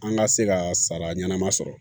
An ka se ka sara ɲɛnama sɔrɔ